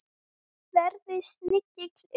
Verði snigill eða ormur.